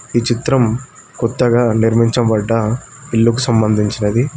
ఈ చిత్రం కొత్తగా నిర్మించబడ్డ ఇల్లుకు సంబంధించినది.